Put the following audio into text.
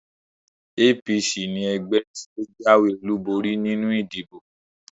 APC ni ẹgbẹ́ tí ó jáwé olúborí nínú ìdìbò